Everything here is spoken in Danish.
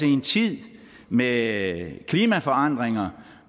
en tid med klimaforandringer